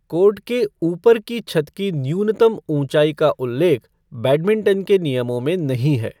Court के ऊपर की छत की न्यूनतम ऊँचाई का उल्लेख बैडमिँटन के नियमों में नहीं है।